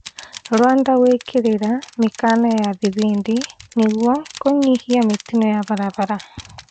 Rwanda gwĩkĩrĩra mĩkana ya thibindi nĩguo kũnyihia mĩtino ya barabara